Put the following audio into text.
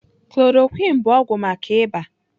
Chloroquine bụ ọgwụ maka ịba.